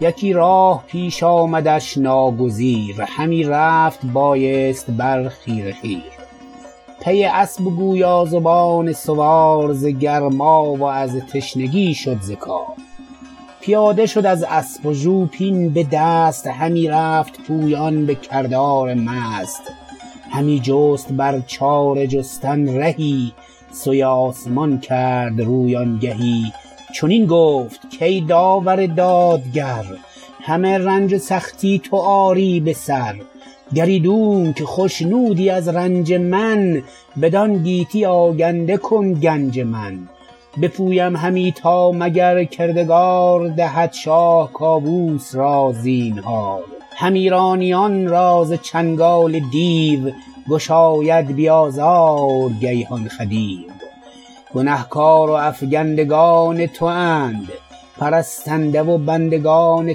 یکی راه پیش آمدش ناگزیر همی رفت بایست بر خیره خیر پی اسپ و گویا زبان سوار ز گرما و از تشنگی شد ز کار پیاده شد از اسپ و ژوپین به دست همی رفت پویان به کردار مست همی جست بر چاره جستن رهی سوی آسمان کرد روی آنگهی چنین گفت کای داور دادگر همه رنج و سختی تو آری به سر گرایدونک خشنودی از رنج من بدان گیتی آگنده کن گنج من بپویم همی تا مگر کردگار دهد شاه کاووس را زینهار هم ایرانیان را ز چنگال دیو گشاید بی آزار گیهان خدیو گنه کار و افگندگان تواند پرستنده و بندگان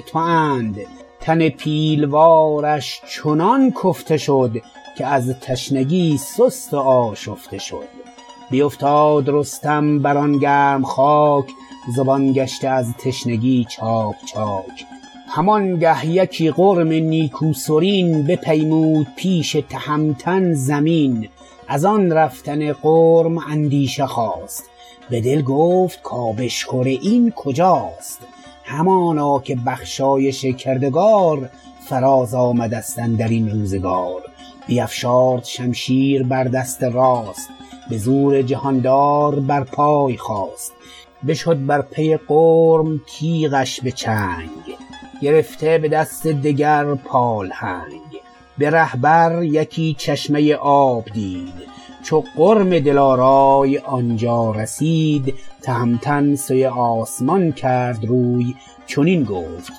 تواند تن پیلوارش چنان تفته شد که از تشنگی سست و آشفته شد بیفتاد رستم بر آن گرم خاک زبان گشته از تشنگی چاک چاک همانگه یکی میش نیکوسرین بپیمود پیش تهمتن زمین ازان رفتن میش اندیشه خاست به دل گفت که آبشخور این کجاست همانا که بخشایش کردگار فراز آمده ست اندرین روزگار بیفشارد شمشیر بر دست راست به زور جهان دار بر پای خاست بشد بر پی میش و تیغش به چنگ گرفته به دست دگر پالهنگ به ره بر یکی چشمه آمد پدید چو میش سراور بدانجا رسید تهمتن سوی آسمان کرد روی چنین گفت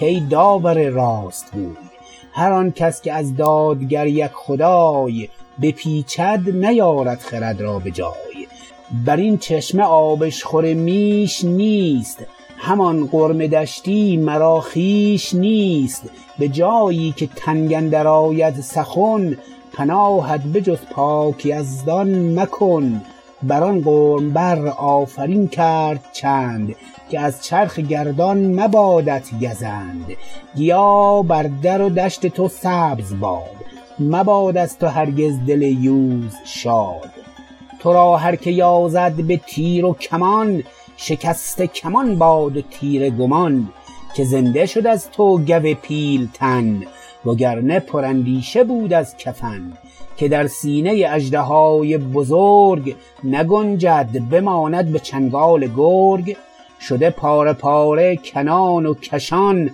کای داور راستگوی هرانکس که از دادگر یک خدای بپیچد نیارد خرد را به جای برین چشمه آبشخور میش نیست همان غرم دشتی مرا خویش نیست به جایی که تنگ اندر آید سخن پناهت به جز پاک یزدان مکن بران غرم بر آفرین کرد چند که از چرخ گردان مبادت گزند گیا بر در و دشت تو سبز باد مباد از تو هرگز دل یوز شاد ترا هرک یازد به تیر و کمان شکسته کمان باد و تیره گمان که زنده شد از تو گو پیلتن وگرنه پراندیشه بود از کفن که در سینه اژدهای بزرگ نگنجد بماند به چنگال گرگ شده پاره پاره کنان و کشان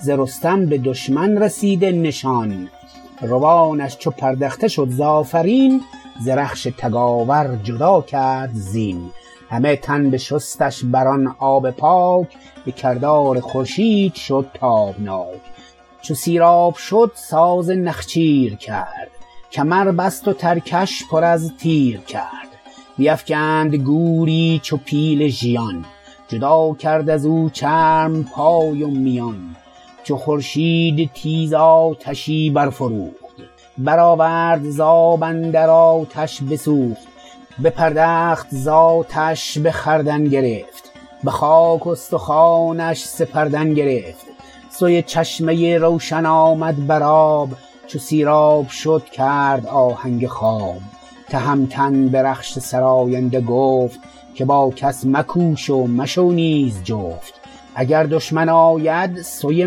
ز رستم به دشمن رسیده نشان روانش چو پردخته شد ز آفرین ز رخش تگاور جدا کرد زین همه تن بشستش بران آب پاک به کردار خورشید شد تابناک چو سیراب شد ساز نخچیر کرد کمر بست و ترکش پر از تیر کرد بیفگند گوری چو پیل ژیان جدا کرد ازو چرم پای و میان چو خورشید تیز آتشی برفروخت برآورد ز آب اندر آتش بسوخت بپردخت ز آتش به خوردن گرفت به خاک استخوانش سپردن گرفت سوی چشمه روشن آمد بر آب چو سیراب شد کرد آهنگ خواب تهمتن به رخش سراینده گفت که با کس مکوش و مشو نیز جفت اگر دشمن آید سوی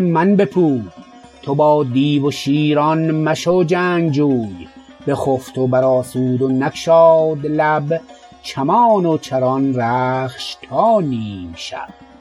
من بپوی تو با دیو و شیران مشو جنگجوی بخفت و بر آسود و نگشاد لب چمان و چران رخش تا نیم شب